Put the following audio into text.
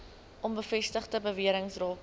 onbevestigde bewerings rakende